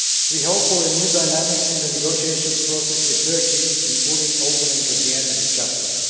We hope for new dynamics in the negotiation process with Turkey including opening of the energy chapter.